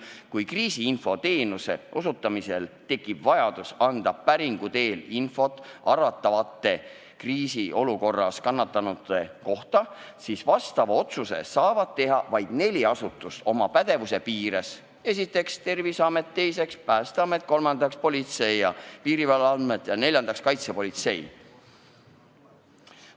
Kui kriisiinfo teenuse osutamisel tekib vajadus anda päringu teel infot arvatavate kriisiolukorras kannatanute kohta, siis vastava otsuse saavad teha vaid neli asutust oma pädevuse piires: Terviseamet, Päästeamet, Politsei- ja Piirivalveamet või Kaitsepolitseiamet.